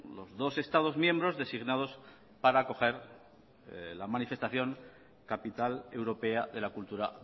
los dos estados miembros designados para acoger la manifestación capital europea de la cultura